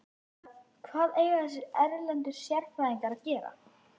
En hvað eiga þessir erlendu sérfræðingar að gera?